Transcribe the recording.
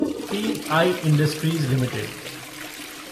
P I Industries limited